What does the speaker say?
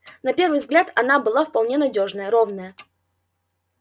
на первый взгляд она была вполне надёжная ровная